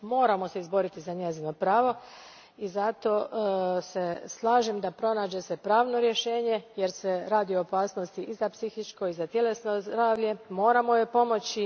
Moramo se izboriti za njezino pravo i zato se slažem da se pronađe pravno rješenje jer se radi o opasnosti i za psihičko i za tjelesno zdravlje. Moramo joj pomoći.